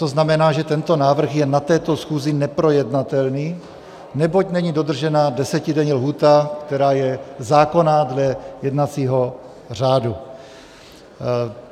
To znamená, že tento návrh je na této schůzi neprojednatelný, neboť není dodržena desetidenní lhůta, která je zákonná dle jednacího řádu.